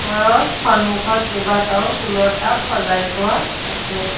ঘৰৰ সন্মুখত কেইবাটাও ফুলৰ টাব সজাই থোৱা আছে।